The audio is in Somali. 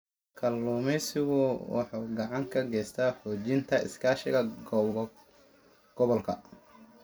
Kalluumeysigu wuxuu gacan ka geystaa xoojinta iskaashiga gobolka.